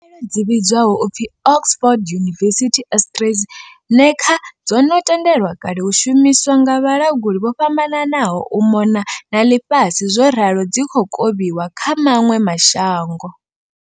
dzi vhidzwaho u pfi Oxford University-AstraZe neca dzo no tendelwa kale u shumiswa nga vhalanguli vho fhambananaho u mona na ḽifhasi zworalo dzi khou kovhiwa kha maṅwe ma shango.